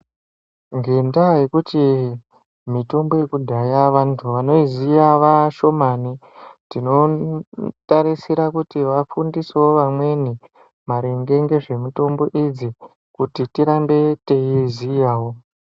Ngendaa yekuti mitombo yekudhaya vantu vanoiziya vashomani, tinotarisira kuti vafundisewo vamweni maringe ngezvemitombo idzi kuti tirambe teiiziyawo.